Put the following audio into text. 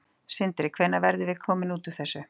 Sindri: Hvenær verðum við komin út úr þessu?